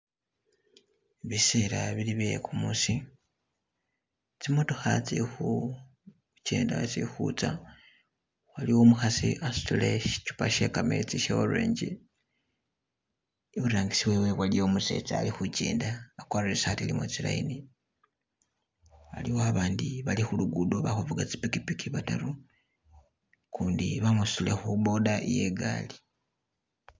Bisela bili bye kumusi, tsimotokha tsili khu kenda tsili khutsa, wailwo umukhasi asutile sichupa she kametsi she orange, iburangisi wewe waliyo umusetsa alikhukenda akwarire isaati ilimo tsilayini, aliwo abandi bali khulugudo bali khufuga tsi pikipiki bataru ukundi bamusutile khu boda iye gali